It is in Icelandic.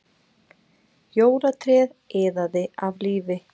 Jólatréð iðaði af lífi